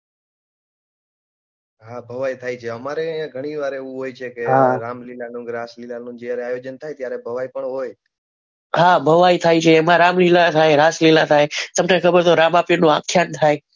હા ભવાઈ થાય છે અમારે ઘણી વાર એવું હોય છે કે રામલીલાનું રામલીલા નું જ્યારે ભજન થાય ત્યારે ભવાઈ પણ હોય હા ભવાઈ થાય છે એમાં રામલીલા રાસલીલા થાય તમે સમજાતું રામા પીર નું આખ્યાન થાય.